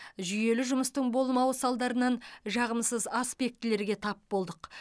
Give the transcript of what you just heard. жүйелі жұмыстың болмауы салдарынан жағымсыз аспектілерге тап болдық